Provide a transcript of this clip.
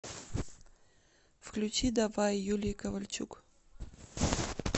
включи давай юлии ковальчук